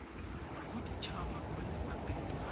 bodit haba kwa lefapheng la